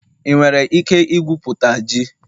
ị nwere ike ikwupụta ji?